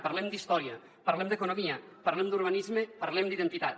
parlem d’història parlem d’economia parlem d’urbanisme parlem d’identitat